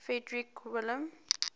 frederick william